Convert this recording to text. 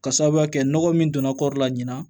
Ka sababuya kɛ nɔgɔ min donna kɔɔri la ɲina